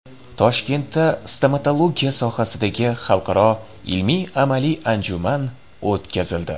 Toshkentda stomatologiya sohasidagi xalqaro ilmiy-amaliy anjuman o‘tkazildi.